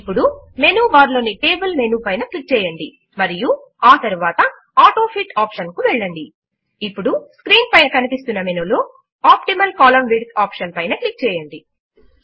ఇప్పుడు menu bar లోని table menu పైన క్లిక్ చేయండి మరియు ఆ తరువాత ఆటోఫిట్ ఆప్షన్ కు వెళ్ళండి ఇప్పుడు స్క్రీన్ పైన కనిపిస్తున్న మెనూ లో ఆప్టిమల్ కోలమ్న్ విడ్త్ ఆప్షన్ పైన క్లిక్ చేయండి